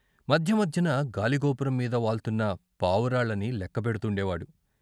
మధ్య మధ్యన గాలిగోపురం మీద వాల్తున్న పావురాళ్ళని లెక్క పెడ్తుండేవాడు.